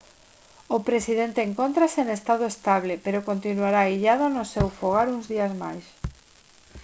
o presidente encóntrase en estado estable pero continuará illado no seu fogar uns días máis